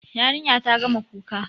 Yarinya ta gama kuka.